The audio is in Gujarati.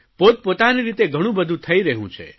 પોતપોતાની રીતે ઘણું બધું થઇ રહયું છે